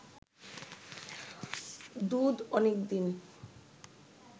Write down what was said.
দুধ অনেক দিন